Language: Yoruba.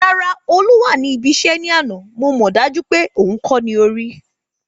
Rárá Olú wá ní ibi iṣẹ́ ní àná, mo mọ dájú wípé òhun kó ní orí